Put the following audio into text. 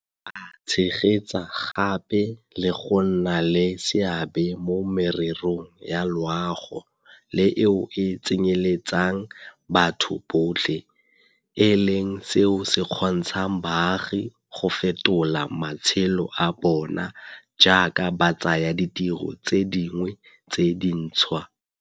A tshegetsa gape le go nna le seabe mo mererong ya loago le eo e tsenyeletsang batho botlhe, e leng seo se kgontshang baagi go fetola matshelo a bona jaaka ba tsaya ditiro tse dingwe tse dintšhwa.